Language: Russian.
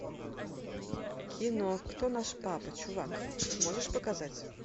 кино кто наш папа чувак можешь показать